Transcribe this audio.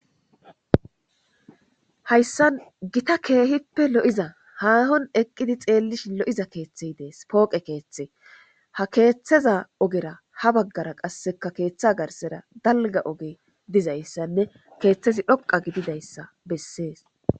Hayssan gita keehippe lo'iza haahon eqqidi xeellishi lo'iza keeththey dees pooqe keeththe ha keeththeza ogera ha baggara qasseka keeththa garsera dalga oge dizayssanne keeththezi dhoqa gididayssa bessees.